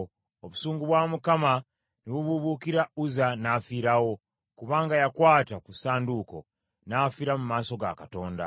Obusungu bwa Mukama ne bubuubuukira Uzza, n’afiirawo, kubanga yakwata ku ssanduuko. N’afiira mu maaso ga Katonda.